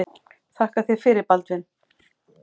Þakka þér fyrir Baldvin.